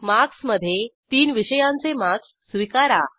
marks मधे तीन विषयांचे मार्क्स स्वीकारा